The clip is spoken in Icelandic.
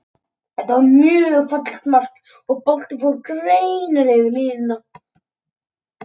Þetta var mjög fallegt mark, og boltinn fór greinilega yfir línuna.